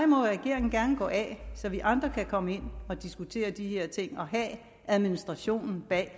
må regeringen gerne gå af så vi andre kan komme ind og diskutere de her ting og have administrationen bag